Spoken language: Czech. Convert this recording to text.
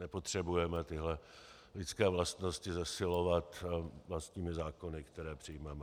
Nepotřebujeme tyto lidské vlastnosti zesilovat vlastními zákony, které přijmeme.